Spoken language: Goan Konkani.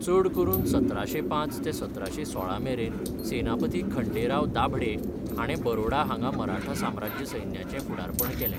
चड करून सतराशें पांच ते सतराशें सोळा मेरेन सेनापती खंडेराव दाभडे हाणें बरोडा हांगा मराठा साम्राज्य सैन्याचें फुडारपण केलें.